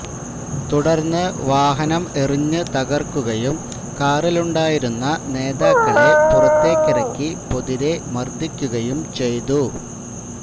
തുടര്ന്ന് വാഹനം എറിഞ്ഞ് തകര്ക്കുകയും കാറിലുണ്ടായിരുന്ന നേതാക്കളെ പുറത്തേക്കിറക്കി പൊതിരെ മര്ദ്ദിക്കുകയും ചെയ്തു